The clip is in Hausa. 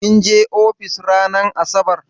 Kin je ofis ranar asabar?